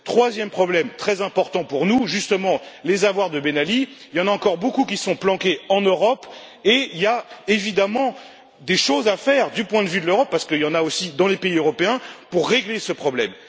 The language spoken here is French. Troisième problème, très important pour nous justement, les avoirs de Ben Ali, il y en a encore beaucoup qui sont planqués en Europe et il y a évidemment des choses à faire du point de vue de l'Europe parce qu'il y en a aussi dans les pays européens pour régler ce problème.